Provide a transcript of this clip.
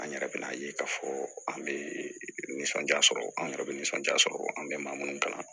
An yɛrɛ bɛ n'a ye k'a fɔ an bɛ nisɔndiya sɔrɔ an yɛrɛ bɛ nisɔndiya sɔrɔ an bɛ maa minnu kalan